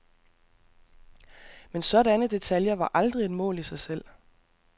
Men sådanne detaljer var aldrig et mål i sig selv.